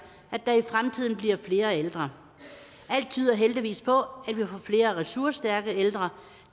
at der i fremtiden bliver flere ældre alt tyder heldigvis på at vi får flere ressourcestærke ældre